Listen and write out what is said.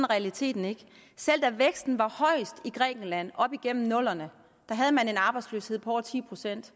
realiteterne ikke selv da væksten var højest i grækenland op igennem nullerne havde man en arbejdsløshed på over ti procent